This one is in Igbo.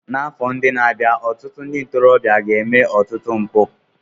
N'afọ ndị na-abịa, ọtụtụ ndị ntorobịa ga-eme ọtụtụ mpụ.